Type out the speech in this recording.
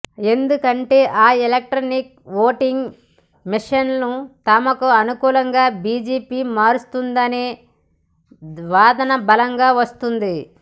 ఎందుకంటే ఆ electronic voting మిషన్లను తమకు అనుకూలంగా బీజేపీ మారుస్తుందనే వాదన బలంగా వస్తోంది